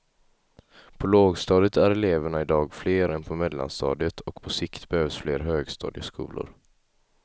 På lågstadiet är eleverna idag fler än på mellanstadiet och på sikt behövs fler högstadieskolor.